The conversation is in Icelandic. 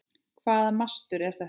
Hvaða mastur er þetta?